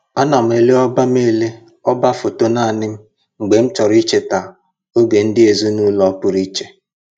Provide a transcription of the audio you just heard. Ana m ele ọba m ele ọba foto naanị m mgbe m chọrọ icheta oge ndị ezinụlọ pụrụ iche